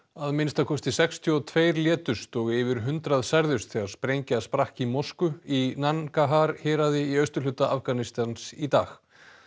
að minnsta kosti sextíu og tveir létust og yfir hundrað særðust þegar sprengja sprakk í mosku í héraði í austurhluta Afganistans í dag